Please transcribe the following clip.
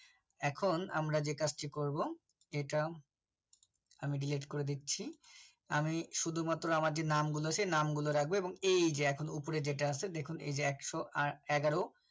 এখন আমরা যে কাজটি করব যেটা আমি Delete করে দিচ্ছি আমি শুধুমাত্র আমার যে নামগুলো আছে সে নামগুলো রাখবো এবং এই যে এখন উপরে যেটা আছে দেখুন এই যে একশো আট এগারো